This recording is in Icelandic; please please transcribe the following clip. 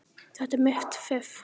Þetta er mitt fiff.